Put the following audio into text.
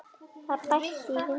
Það bætti í vindinn og